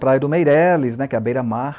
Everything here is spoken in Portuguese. Praia do Meireles né, que é a beira-mar.